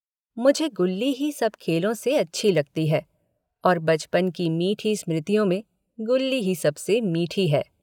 मुझे गुल्ली ही सब खेलों से अच्छी लगती है और बचपन की मीठी स्मृतियों में गुल्ली ही सबसे मीठी है।